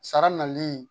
Sara nali